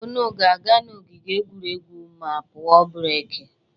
Unu ga-aga ogige egwuregwu ma a pụọ breki.